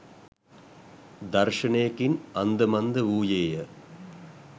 දර්ශනයකින් අන්දමන්ද වූයේය.